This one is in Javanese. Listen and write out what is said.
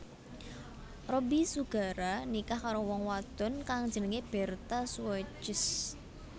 Robby Sugara nikah karo wong wadon kang jenengé Bertha Suwages